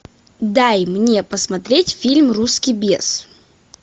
дай мне посмотреть фильм русский бес